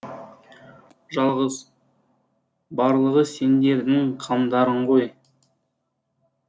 жалғыз барлығы сендердің қамдарың ғой